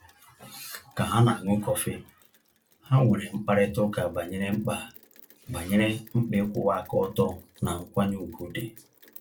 Ka ha na-aṅụ kọfị, ha nwere mkparịtaụka banyere mkpa banyere mkpa ịkwụwa aka ọtọ na nkwanye ùgwù dị.